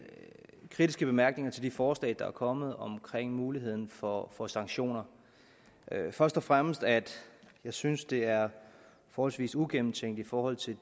kritiske bemærkninger til de forslag der er kommet om muligheden for for sanktioner først og fremmest at jeg synes det er forholdsvis ugennemtænkt i forhold til